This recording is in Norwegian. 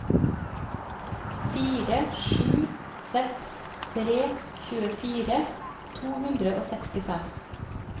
fire sju seks tre tjuefire to hundre og sekstifem